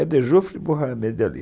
É de Geoffrey Mohamed Ali.